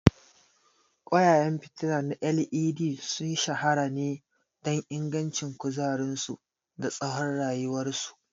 Ƙwayayen fitila na LED sun shahara ne don ingancin kuzarinsu da tsawon rayuwarsu.